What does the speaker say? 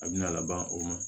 A bina laban o ma